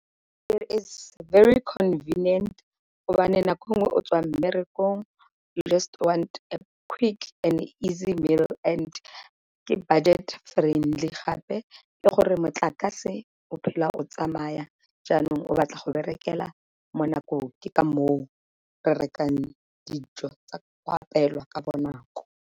It is very convenient nako e nngwe o tswa mmerekong you just want a quick and easy meal and ke budget friendly, gape e gore motlakase o phela o tsamaya jaanong o batla go berekela mo nakong ke ka moo re rekang dijo go apewa ka bonako.